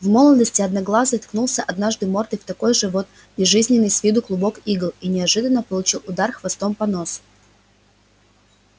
в молодости одноглазый ткнулся однажды мордой в такой же вот безжизненный с виду клубок игл и неожиданно получил удар хвостом по носу